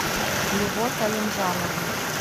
любовь алимжановна